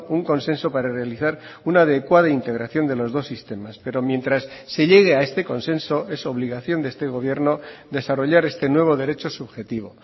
un consenso para realizar una adecuada integración de los dos sistemas pero mientras se llegue a este consenso es obligación de este gobierno desarrollar este nuevo derecho subjetivo